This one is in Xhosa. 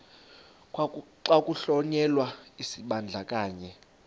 xa kuhlonyelwa isibandakanyi